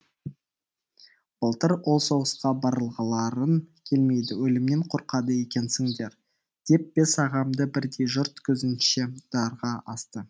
былтыр ол соғысқа барғыларың келмейді өлімнен қорқады екенсіңдер деп бес ағамды бірдей жұрт көзінше дарға асты